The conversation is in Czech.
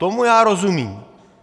Tomu já rozumím.